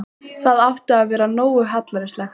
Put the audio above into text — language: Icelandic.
Það átti að vera nógu hallærislegt.